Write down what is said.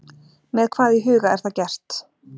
Með hvað í huga er það gert?